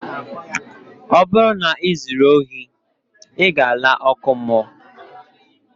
Ọ bụrụ na ị zuru ohi, ị ga-aga ọkụ ala mmụọ